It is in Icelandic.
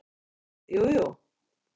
Ha, jú, jú.